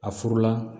A furu la